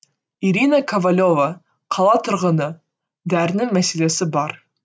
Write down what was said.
ирина ковалева қала тұрғыны дәрінің мәселесі бар